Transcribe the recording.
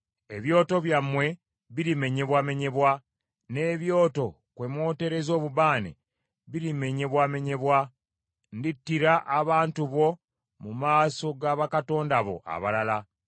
Ebyoto byammwe birimenyebwamenyebwa, n’ebyoto kwe mwotereza obubaane birimenyebwamenyebwa; ndittira abantu bo mu maaso ga bakatonda bo abalala.